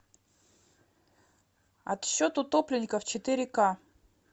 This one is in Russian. отсчет утопленников четыре ка